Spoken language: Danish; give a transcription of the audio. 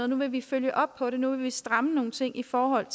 nu vil vi følge op på det nu vil vi stramme nogle ting i forhold